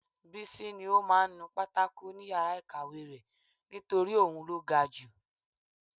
Bísí ní ó máa ń nu pátákò ni yàrá ìkàwé rẹ̀ nítorí òun ló ga ju